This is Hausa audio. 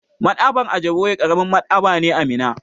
Maɗ'aba'ar Ajiboye ƙaramin Maɗ'aba'a ne a Minna.